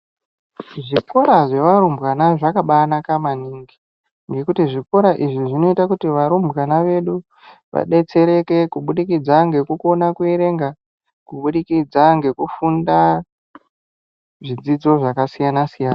Zvikora zvevarumbwana zvakabanaka maningi nekuti zvikora izvi zvinoita kuti varumbwana vedu vabetsereke kubudikidza nekukona kuverenga kubudikidza nekufunda zvidzidzo zvakasiyana siyana .